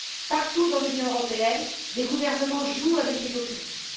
Partout dans l'Union européenne, des gouvernements jouent avec les populismes.